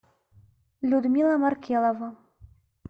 людмила маркелова